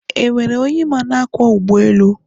e nwere onye ịma na-akwọ ụgbọelu?